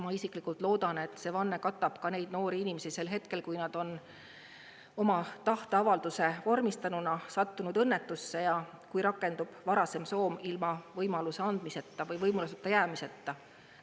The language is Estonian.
Ma isiklikult loodan, et see vanne katab ka neid noori inimesi sel hetkel, kui nad on oma tahteavalduse vormistanuna sattunud õnnetusse ja kui rakendub varasem soov ilma võimaluse andmise võimaluseta jäämiseta.